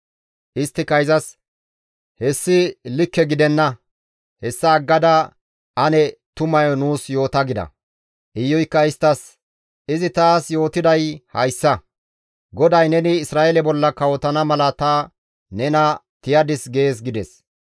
Isttika izas, «Hessi likke gidenna; hessa aggada ane tumayo nuus yoota» gida. Iyuykka isttas, «Izi taas yootiday hayssa, ‹GODAY neni Isra7eele bolla kawotana mala ta nena tiyadis› gees» gides.